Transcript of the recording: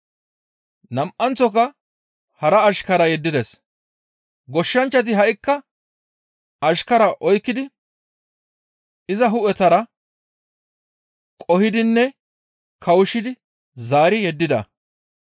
Nam7anththoka hara ashkara yeddides. Goshshanchchati ha7ikka ashkaraa oykkidi izas hu7etara qoo7idinne kawushshidi zaari yeddida.